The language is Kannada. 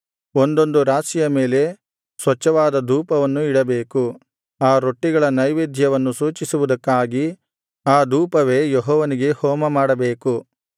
ಒಂದೊಂದು ರಾಶಿಯ ಮೇಲೆ ಸ್ವಚ್ಛವಾದ ಧೂಪವನ್ನು ಇಡಬೇಕು ಆ ರೊಟ್ಟಿಗಳ ನೈವೇದ್ಯವನ್ನು ಸೂಚಿಸುವುದಕ್ಕಾಗಿ ಆ ಧೂಪವೇ ಯೆಹೋವನಿಗೆ ಹೋಮಮಾಡಬೇಕು